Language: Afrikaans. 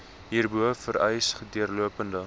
hierbo vereis deurlopende